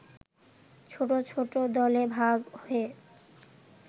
ছোট ছোট দলে ভাগ হয়ে